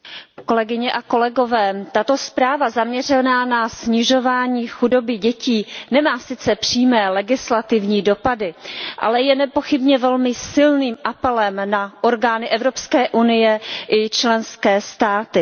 Paní předsedající, tato zpráva zaměřená na snižování chudoby dětí nemá sice přímé legislativní dopady, ale je nepochybně velmi silným apelem na orgány Evropské unie i členské státy.